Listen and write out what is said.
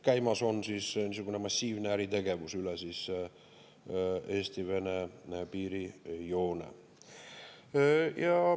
Käimas on niisugune massiivne äritegevus üle Eesti-Vene piirijoone.